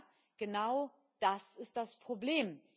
Ja, genau das ist das Problem.